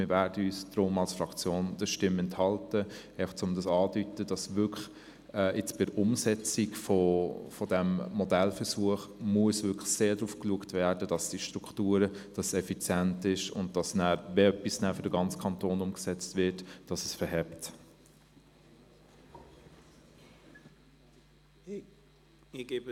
Deshalb werden wir uns als Fraktion der Stimme enthalten – auch um anzudeuten, dass bei der Umsetzung dieses Modellversuchs wirklich sehr darauf geachtet werden muss, dass die Strukturen effizient sind und dass es, wenn etwas für den ganzen Kanton umgesetzt würde, funktionieren sollte.